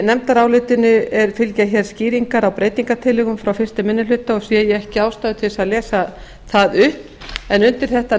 í nefndarálitinu fylgja skýringar á breytingartillögum frá fyrstu minni hluta og sé ég ekki ástæðu til að lesa þær upp undir